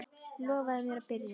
Lofaðu mér að byrja aftur!